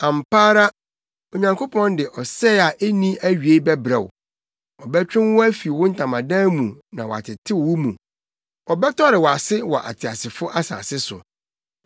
Ampa ara Onyankopɔn de ɔsɛe a enni awiei bɛbrɛ wo; ɔbɛtwe wo afi wo ntamadan mu na watetew wo mu; Ɔbɛtɔre wʼase wɔ ateasefo asase so.